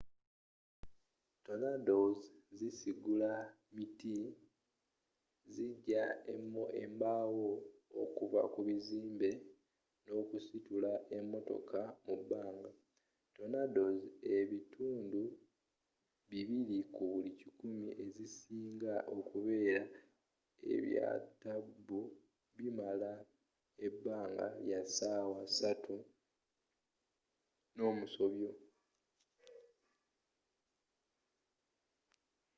tornadoes zisigula miti zijja embaawo okuva ku bizimbe n'okusitula emmotoka mu bbanga tornadoes ebitundu bibiri ku buli kikumi ezisinga okubeera ebyatabbu bimala ebbanga lya ssaawa ssatu n'omusobyo